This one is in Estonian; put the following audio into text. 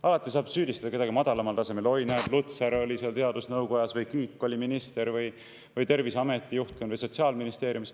Alati saab süüdistada kedagi madalamal tasemel: näed, Lutsar oli seal teadusnõukojas või Kiik oli minister või Terviseameti juhtkond või Sotsiaalministeerium.